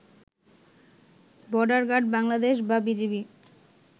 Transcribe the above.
border guard Bangladesh বা BGB